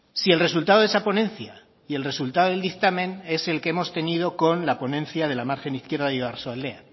si el resultado de esa ponencia y el resultado del dictamen es el que hemos tenido con la ponencia de la margen izquierda y oarsoaldea